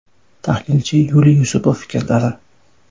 Tahlilchi Yuliy Yusupov fikrlari.